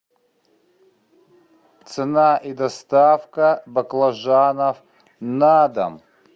цена и доставка баклажанов на дом